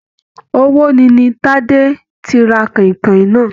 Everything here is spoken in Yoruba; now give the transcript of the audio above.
Ọwọ ní ní Tade tí rà kọ̀ìnkọ̀ìn náà.